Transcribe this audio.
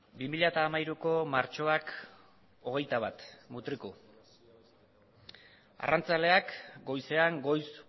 bi mila hamairuko martxoak hogeita bat mutriku arrantzaleak goizean goiz